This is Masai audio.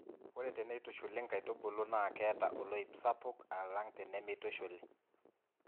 Ore teneitushuli nkaitubulu naa keeta oloip sapuk ala tenemeitushuli.